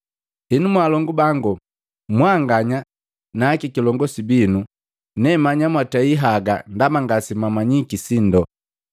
“Henu, mwalongu bangu mwanganya nakikilongosi binu, nemanya mwatei haga ndaba ngase mwamanyiki sindo.